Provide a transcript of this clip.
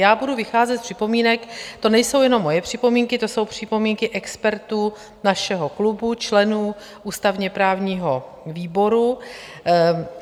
Já budu vycházet z připomínek - to nejsou jenom moje připomínky, to jsou připomínky expertů našeho klubu, členů ústavně-právního výboru.